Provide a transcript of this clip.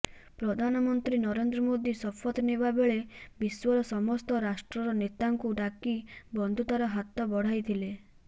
ପ୍ରଧାନମନ୍ତ୍ରୀ ନରେନ୍ଦ୍ର ମୋଦି ଶପଥ ନେବା ବେଳେ ବିଶ୍ୱର ସମସ୍ତ ରାଷ୍ଟ୍ରର ନେତାଙ୍କୁ ଡାକି ବନ୍ଧୁତାର ହାତ ବଢ଼ାଇଥିଲେ